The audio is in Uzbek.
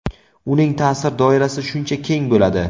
uning ta’sir doirasi shuncha keng bo‘ladi.